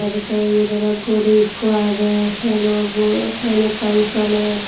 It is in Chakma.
ar tey yot oley guri ekko agey penobo fen ekkan soler.